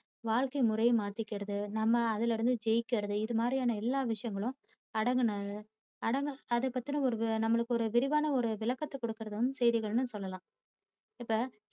வாழ்க்கை முறையை மாத்திக்கிறது, நம்ம அதிலிருந்து ஜெய்க்கிறது, இது மாதிரி ஆன எல்லா விஷயங்களும் அடங்கின, அடங்~அத பத்தின ஒரு நமக்கு ஒரு விரிவான ஒரு விளக்கத்தை கொடுக்கிறது செய்திகளுனு சொல்லாம். இப்ப